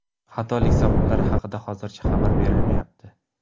Xatolik sabablari haqida hozircha xabar berilmayapti.